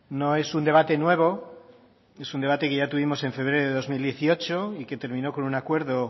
no es un debate nuevo es un debate que ya tuvimos en febrero de dos mil dieciocho y que terminó con un acuerdo